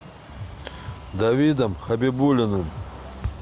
давидом хабибулиным